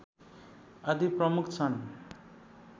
आदि प्रमुख छन्